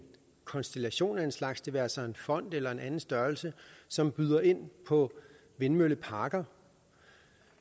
konstellation af en slags det være sig en fond eller en anden størrelse som byder ind på vindmølleparker